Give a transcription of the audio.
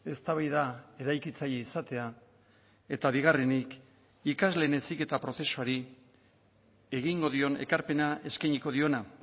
eztabaida eraikitzaile izatea eta bigarrenik ikasleen heziketa prozesuari egingo dion ekarpena eskainiko diona